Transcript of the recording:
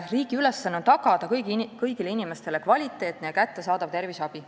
" Riigi ülesanne on tõesti tagada kõigile inimestele kvaliteetne ja kättesaadav terviseabi.